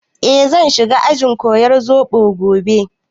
Eh, zan shiga ajin koyar zobo gobe